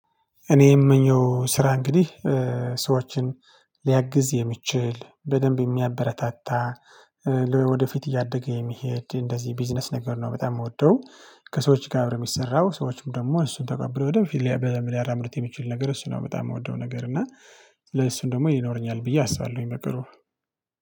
እኔ የምመኘው ስራ እንግዲህ ሰዎችን ሊያግዝ የሚችል በደንብ የሚያበረታታ ወደፊት እያደገ የሚሄድ እንደዚህ ቢዝነስ ነገር ነው በጣም የምወደው። ከሰዎች ጋር የሚሰራው ሰዎችም ደግሞ እሱን ተቀብሎ ደግሞ በፊት ሊያራምርት የሚችል ነገር እሱ ነው በጣም የምወደው። ነገር እና ለእሱም ደግሞ ይኖረኛል ብዬ አስባለሁኝ በቅርቡ